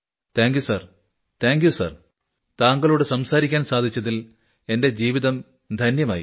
thank you sir thank you sir താങ്കളോട് സംസാരിക്കാൻ സാധിച്ചതിൽ എന്റെ ജീവിതം ധന്യമായി